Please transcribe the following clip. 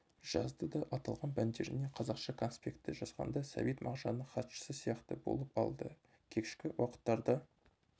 жазды да аталған пәндерден қазақша конспекті жазғанда сәбит мағжанның хатшысы сияқты болып алды кешкі уақыттарда